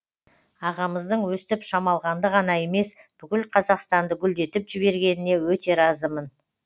ағамыздың өстіп шамалғанды ғана емес бүкіл қазақстанды гүлдетіп жібергеніне өте разымын